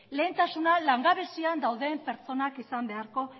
lehentasuna langabezian dauden pertsonak izan beharko